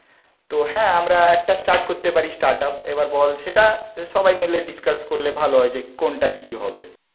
তো হ্যাঁ আমরা একটা স্টার্ট করতে পারি স্টার্টআপ, এবার বল, সেটা সবাই মিলে ডিসকাস করলে ভালো হয়, যে কোনটা কি হবে